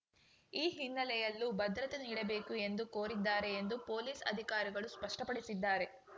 ಈ ಹಿನ್ನೆಲೆಯಲ್ಲೂ ಭದ್ರತೆ ನೀಡಬೇಕು ಎಂದು ಕೋರಿದ್ದಾರೆ ಎಂದು ಪೊಲೀಸ್‌ ಅಧಿಕಾರಿಗಳು ಸ್ಪಷ್ಟಪಡಿಸಿದ್ದಾರೆ